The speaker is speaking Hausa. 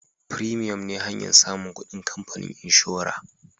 " premium " ne hanyan samun kudin kamfanin inshora